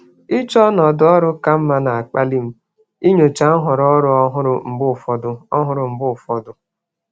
Ịchọ ọnọdụ ọrụ ka mma na-akpali m inyocha nhọrọ ọrụ ọhụrụ mgbe ụfọdụ. ọhụrụ mgbe ụfọdụ.